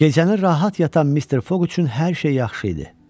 Gecəni rahat yatan Mr. Foq üçün hər şey yaxşı idi.